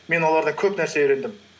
мен олардан көп нәрсе үйрендім